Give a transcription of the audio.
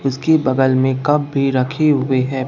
इसके बगल में कप भी रखे हुए हैं।